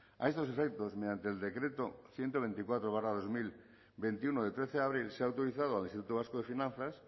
a estos efectos mediante el decreto ciento veinticuatro barra dos mil veintiuno de trece de abril se ha autorizado al instituto vasco de finanzas